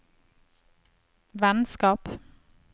vennskap